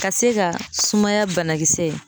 Ka se ka sumaya banakisɛ